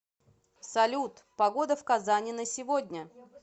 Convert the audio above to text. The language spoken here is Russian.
салют погода в казани на сегодня